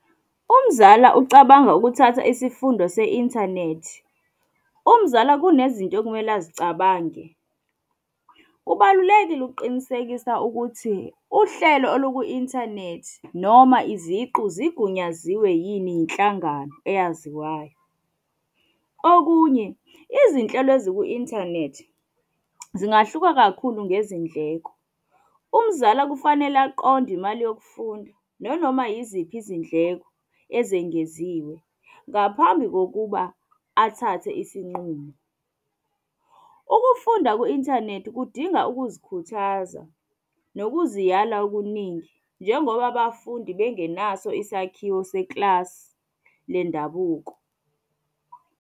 Umzala ucabanga ukuthatha isifundo se-inthanethi, umzala kunezinto okumele azicabange. Kubalulekile ukuqinisekisa ukuthi uhlelo oluku-inthanethi noma iziqu zigunyaziwe yini yinhlangano eyaziwayo. Okunye, izinhlelo eziku-inthanethi zingahluka kakhulu ngezindleko. Umzala kufanele aqonde imali yokufunda nanoma yiziphi izindleko ezengeziwe ngaphambi kokuba athathe isinqumo. Ukufunda ku-inthanethi kudinga ukuzikhuthaza nokuziyala okuningi, njengoba abafundi bengenaso isakhiwo sekilasi le ndabuko.